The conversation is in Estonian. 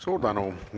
Suur tänu!